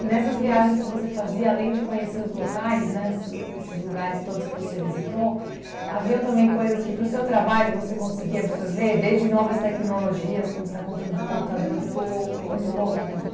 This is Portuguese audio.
E nessas viagens que você fazia, além de conhecer os locais, né, esse lu esses lugares todos que você visitou, haviam também coisas que, para o seu trabalho, você conseguia absorver, desde novas tecnologias, como você está contando do computador? Ah, muito pouco. Muito pouco? Não.